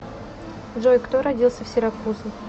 джой кто родился в сиракузы